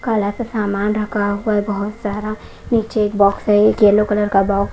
काला सा सामान रखा हुआ है बहुत सारा नीचे एक बॉक्स है एक यलो कलर का बॉक्स --